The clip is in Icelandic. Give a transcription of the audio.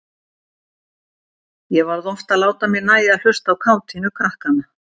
Ég varð oft að láta mér nægja að hlusta á kátínu krakkanna.